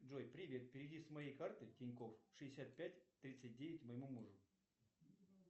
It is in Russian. джой привет переведи с моей карты тинькофф шестьдесят пять тридцать девять моему мужу